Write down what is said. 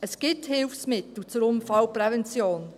Es gibt Hilfsmittel zur Unfallprävention.